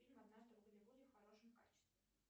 фильм однажды в голливуде в хорошем качестве